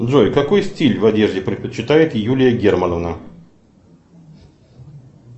джой какой стиль в одежде предпочитает юлия германовна